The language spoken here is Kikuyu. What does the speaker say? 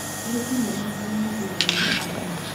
wĩkinyie mambura-ini thutha wa mũcemanio